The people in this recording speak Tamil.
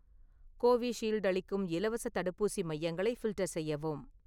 கோவிஷீல்டு அளிக்கும் இலவசத் தடுப்பூசி மையங்களை ஃபில்டர் செய்யவும்